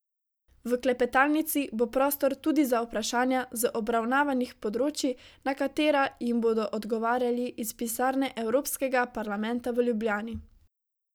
V klepetalnici bo prostor tudi za vprašanja z obravnavanih področij, na katera jim bodo odgovarjali iz pisarne Evropskega parlamenta v Ljubljani.